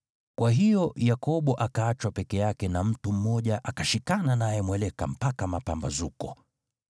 Kwa hiyo Yakobo akaachwa peke yake na mtu mmoja akashikana naye mweleka mpaka mapambazuko.